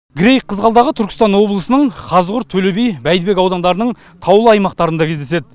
грейг қызғалдағы түркістан облысының қазығұрт төлеби бәйдібек аудандарының таулы аймақтарында кездеседі